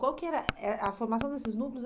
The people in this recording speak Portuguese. Qual que era eh a formação desses núcleos?